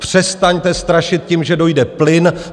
Přestaňte strašit tím, že dojde plyn.